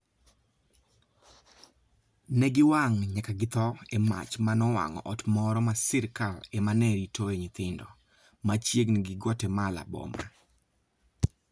Ne giwang' nyaka githo e mach ma nowang'o ot moro ma sirkal ema ne ritoe nyithindo, machiegni gi Guatemala boma.